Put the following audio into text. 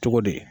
Cogo di